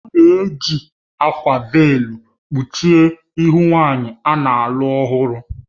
A na-eji akwa véélu kpuchie ihu nwanyị a na-alụ ọhụrụ